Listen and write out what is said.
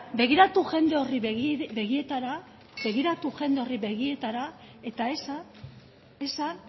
begiratu jende horri begietara eta esan